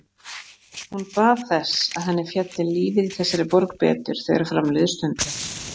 Hún bað þess, að henni félli lífið í þessari borg betur, þegar fram liðu stundir.